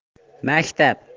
настя